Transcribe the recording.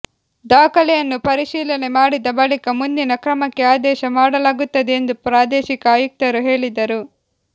ದಾಖಲೆಯನ್ನು ಪರಿಶೀಲನೆ ಮಾಡಿದ ಬಳಿಕ ಮುಂದಿನ ಕ್ರಮಕ್ಕೆ ಆದೇಶ ಮಾಡಲಾಗುತ್ತದೆ ಎಂದು ಪ್ರಾದೇಶಿಕ ಆಯುಕ್ತರು ಹೇಳಿದರು